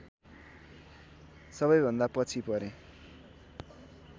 सबैभन्दा पछि परेँ